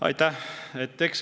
Aitäh!